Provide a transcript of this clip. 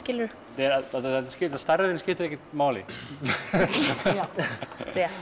stærðin skiptir ekkert máli já rétt